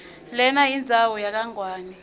lenayindzawo yakangwane